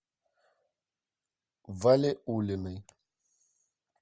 валиуллиной